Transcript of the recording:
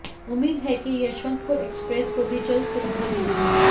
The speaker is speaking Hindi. उम्मीद है कि यशवंतपुर एक्सप्रेस को भी जल्द सुविधा मिलेगी